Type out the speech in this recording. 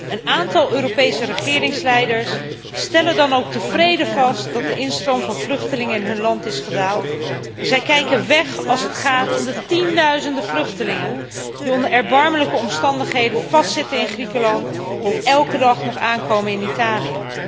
Een aantal Europese regeringsleiders stelt dan ook tevreden vast dat de instroom van vluchtelingen in hun land is gedaald en kijkt weg als het gaat om de tienduizenden vluchtelingen die onder erbarmelijke omstandigheden vastzitten in Griekenland en elke dag nog aankomen in Italië.